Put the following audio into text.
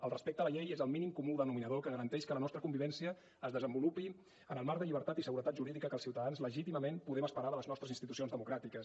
el respecte a la llei és el mínim comú denominador que garanteix que la nostra convivència es desenvolupi en el marc de llibertat i seguretat jurídica que els ciutadans legítimament podem esperar de les nostres institucions democràtiques